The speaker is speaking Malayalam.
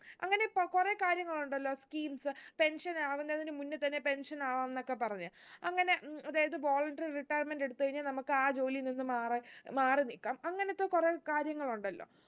അങ്ങനെ ഇപ്പൊ കുറേ കാര്യങ്ങളുണ്ടല്ലോ schemes pension ആവുന്നതിന് മുന്നേ തന്നെ pension ആവുന്നൊക്കെ പറഞ്ഞ് അങ്ങനെ ഉം അതായത് voluntary retirement എടുത്ത് കഴിഞ്ഞാ നമുക്ക് ആ ജോലിയിൽ നിന്നും മാറ മാറി നിക്കാം അങ്ങനത്തെ കുറേ കാര്യങ്ങളുണ്ടല്ലോ